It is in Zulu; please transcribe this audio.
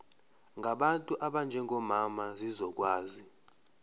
ngabantu abanjengomama zizokwazi